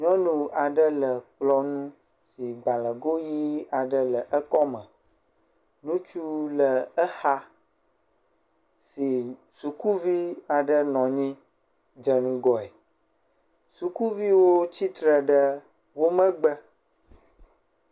Nyɔnu aɖe le kplɔ ŋu si gbalẽdoʋi aɖe le ekɔme, ŋutsu le exa si sukuvi aɖe nɔ anyi dze ŋgɔe, sukuviwo tsitre ɖe wo megbe.